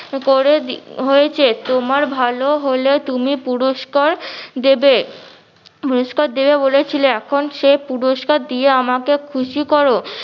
করে হয়েছে তোমার ভালো হলে তুমি পুরুস্কার দিবে, পুরুস্কার দিবে বলেছিলে এখন সে পুরুস্কার দিয়ে আমাকে খুশি করো।